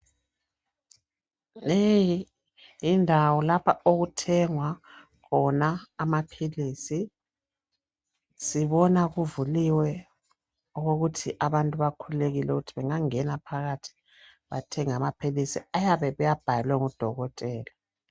Leyi yindawo lapha okuthengwa khona amaphilisi. Sibona kuvuliwe ukokokuthi abantu bakhululekile, ukuthi bangangena phakathi bathenge amaphilisi, abayabe bewabhalelwe ngudokotela.